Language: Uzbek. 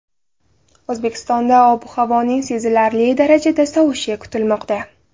O‘zbekistonda ob-havoning sezilarli darajada sovishi kutilmoqda.